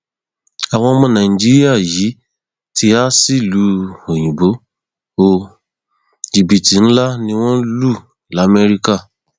àwọn ọmọ nàìjíríà yìí ti há sílùú òyìnbó ó jìbìtì ńlá ni wọn lù lamẹríkà